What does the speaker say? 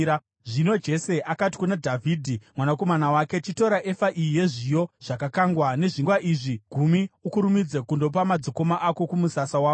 Zvino Jese akati kuna Dhavhidhi mwanakomana wake, “Chitora efa iyi yezviyo zvakakangwa nezvingwa izvi gumi ukurumidze kundopa madzikoma ako kumusasa wavo.